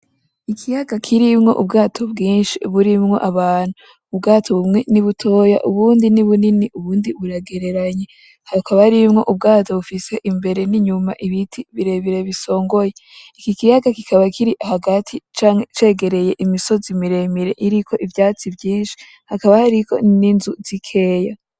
Ikiyaga kirimwo ubwato bwinshi burimwo abantu, ubwato bumwe ni butoya; ubundi ni bunini; ubundi buragereranye, hakaba harimwo ubwato bufise imbere n'inyuma ibiti birebire bisongoye, iki kiyaga kikaba kiri hagati canke cegereye imisozi miremire iriko ivyatsi vyinshi, hakaba hariko n'inzu zikeya.